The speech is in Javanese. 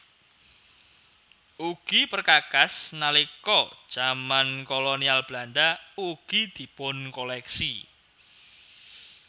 Ugi perkakas nalika jaman Kolonial Belanda ugi dipunkoléksi